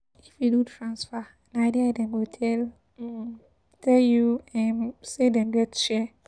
If you do transfer, na there dem go tell um tell you um say dem get share.